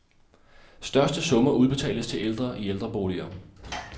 Største summer udbetales til ældre i ældreboliger.